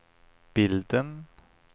bilden